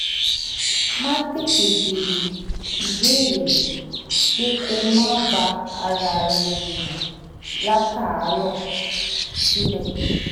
máa tètè béèrè ìbéèrè ju pé kó máa bá ara rẹ̀ jiyàn látàárọ̀ ṣúlẹ̀